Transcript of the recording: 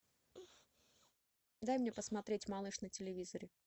дай мне посмотреть малыш на телевизоре